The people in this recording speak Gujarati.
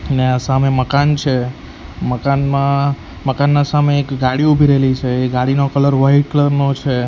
અને આ સામે મકાન છે મકાનમાં મકાનના સામે એક ગાડી ઉભી રેલી છે એ ગાડીનો કલર વાઈટ કલર નો છે.